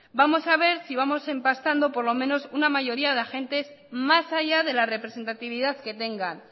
vamos a ver si vamos empastando por lo menos una mayoría de agentes más allá de la representatividad que tengan